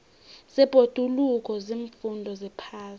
zebhoduluko ziimfundo zephasi